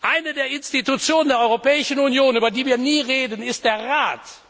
Eines der Organe der Europäischen Union, über die wir nie reden, ist der Rat.